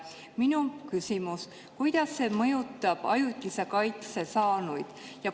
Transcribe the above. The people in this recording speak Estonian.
Minu küsimus: kuidas see mõjutab ajutise kaitse saanuid?